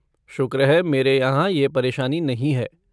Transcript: शुक्र है मेरे यहाँ यह परेशानी नहीं है।